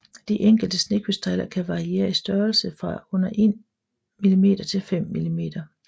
De enkelte snekrystaller kan variere i størrelse fra under 1 mm til 5 mm